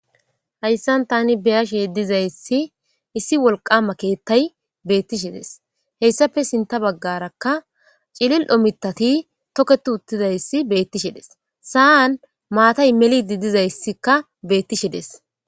Hayisan ta be'ashe dizayis issi woliqqama kethay dizes hesape sintha bagaraka cili'o mithati toketi utidayisan matay melidi dizayisika betishe de'es